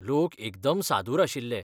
लोक एकदम सादूर आशिल्लें.